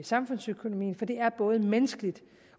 samfundsøkonomien for det er både menneskeligt